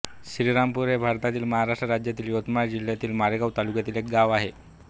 श्रीरामपूर हे भारतातील महाराष्ट्र राज्यातील यवतमाळ जिल्ह्यातील मारेगांव तालुक्यातील एक गाव आहे